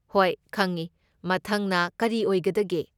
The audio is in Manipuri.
ꯍꯣꯏ ꯈꯪꯢ꯫ ꯃꯊꯪꯅ ꯀꯔꯤ ꯑꯣꯏꯒꯗꯒꯦ?